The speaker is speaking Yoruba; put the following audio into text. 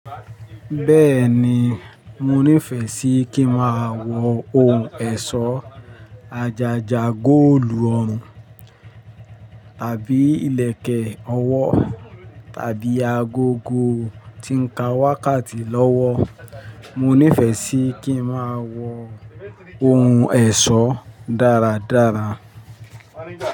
Bẹ́ẹ̀ni, mo nífẹ̀ẹ́ sí kí n máa wọ ohun ẹ̀ṣọ́ àjàjà góòlù ọrùn, tàbí ìlẹ̀kẹ̀ ọwọ́ tàbí agogo tí ń ka wákàtí lọ́wọ́. Mo nífẹ̀ẹ́ sí kí n máa wọ ohun ẹ̀ṣọ́ dáradára.